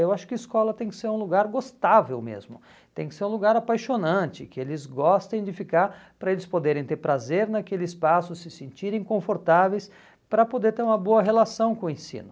Eu acho que escola tem que ser um lugar gostável mesmo, tem que ser um lugar apaixonante, que eles gostem de ficar para eles poderem ter prazer naquele espaço, se sentirem confortáveis para poder ter uma boa relação com o ensino.